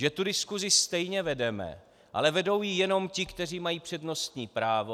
Že tu diskusi stejně vedeme, ale vedou ji jenom ti, kteří mají přednostní právo.